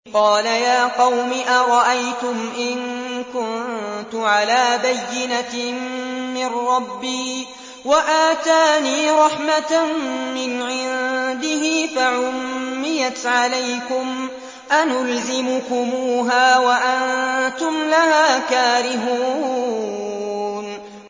قَالَ يَا قَوْمِ أَرَأَيْتُمْ إِن كُنتُ عَلَىٰ بَيِّنَةٍ مِّن رَّبِّي وَآتَانِي رَحْمَةً مِّنْ عِندِهِ فَعُمِّيَتْ عَلَيْكُمْ أَنُلْزِمُكُمُوهَا وَأَنتُمْ لَهَا كَارِهُونَ